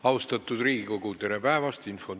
Austatud Riigikogu, tere päevast!